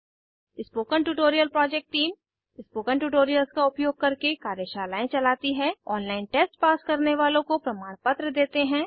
spoken tutorial project team spoken tutorials का उपयोग करके कार्यशालाएं चलती है ऑनलाइन टेस्ट पास करने वालों को प्रमाणपत्र देते हैं